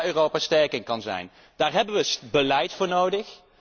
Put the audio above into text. Dat is waar Europa sterk in kan zijn. Daar hebben we beleid voor nodig.